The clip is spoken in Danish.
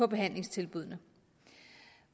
behandlingstilbuddene